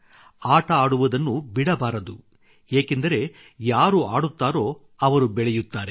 ಆಟ ಆಡುವುದನ್ನೂ ಬಿಡಬಾರದು ಏಕೆಂದರೆ ಯಾರು ಆಡುತ್ತಾರೋ ಅವರು ಬೆಳೆಯುತ್ತಾರೆ